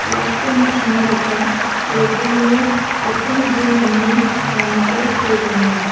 biapko ma·sina gita bolplengo opin jim ine ramao see donenga.